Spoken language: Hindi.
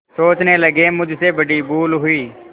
सोचने लगेमुझसे बड़ी भूल हुई